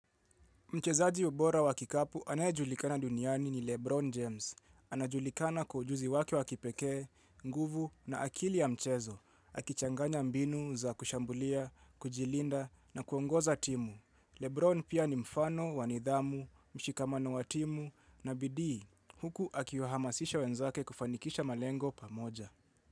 Mchezaji bora wa kikapu anayejulikana duniani ni Lebron James. Anajulikana kwa ujuzi wake wa kipekee, nguvu na akili ya mchezo. Akichanganya mbinu za kushambulia, kujilinda na kuongoza timu. Lebron pia ni mfano, wa nidhamu, mshikamano wa timu na bidii. Huku akiwahamasisha wenzake kufanikisha malengo pamoja.